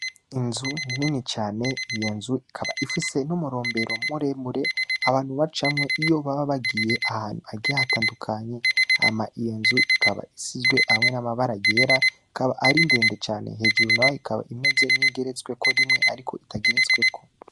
Inzu nini cane, iyo nzu ikaba ifise n'umurombero muremure abantu bacamwo iyo baba bagiye ahantu hagiye hatandukanye hama iyo nzu ikaba isizwe n'amabara yera hama iyo nzu ikaba iri ndende cane. Inyuma naho ikaba imeze nk'iyigeretsweko rimwe ariko itageretsweko.